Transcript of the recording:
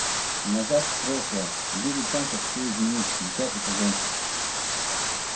назад в прошлое девять шансов все изменить десятый сезон